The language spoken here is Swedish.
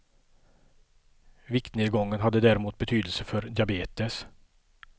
Viktnedgången hade däremot betydelse för diabetes.